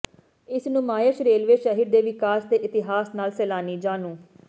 ਇਸ ਨੁਮਾਇਸ਼ ਰੇਲਵੇ ਸ਼ਹਿਰ ਦੇ ਵਿਕਾਸ ਦੇ ਇਤਿਹਾਸ ਨਾਲ ਸੈਲਾਨੀ ਜਾਣੂ